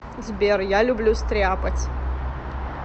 сбер я люблю стряпать